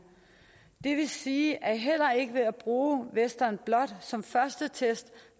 det vil sige at man heller ikke ved at bruge western blot som første test